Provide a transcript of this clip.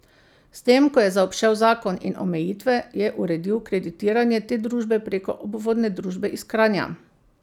S tem, ko je zaobšel zakon in omejitve, je uredil kreditiranje te družbe preko obvodne družbe iz Kranja.